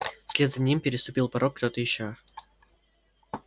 вслед за ним переступил порог кто-то ещё